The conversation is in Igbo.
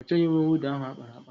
Ọ chọghị uwe mwụda ahụ ákpáraàkpà?